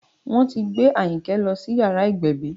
Wọ́n ti gbé Ayinke lọ sí yàrá ìgbẹ̀bí